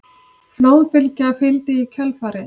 Flóðbylgja fylgdi í kjölfarið